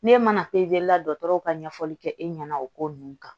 N'e mana dɔgɔtɔrɔw ka ɲɛfɔli kɛ e ɲɛna o ko ninnu kan